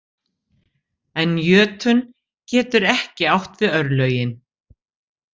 En jötunn getur ekki átt við örlögin.